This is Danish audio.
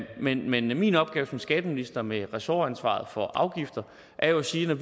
men men min opgave som skatteminister med ressortansvaret for afgifter er jo at sige at